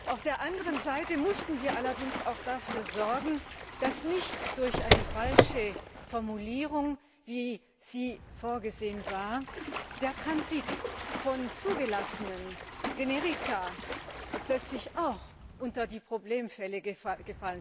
Auf der anderen Seite mussten wir allerdings auch dafür sorgen, dass nicht durch eine falsche Formulierung, wie sie vorgesehen war, der Transit von zugelassenen Generika plötzlich auch unter die Problemfälle fällt.